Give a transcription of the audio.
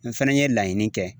N fana ye laɲini kɛ